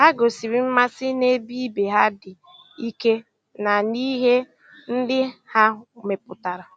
Ha gosiri mmasị na-ebe ibe ha dị ike na n'ihe ndị ha mepụtara.